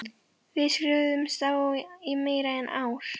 Við skrifuðumst á í meira en ár.